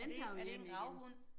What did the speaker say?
Er det er det en gravhund?